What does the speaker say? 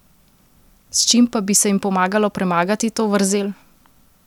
S čim pa bi se jim pomagalo premagati to vrzel?